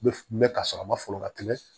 N bɛ ka sɔrɔ a ma folon ka tɛmɛ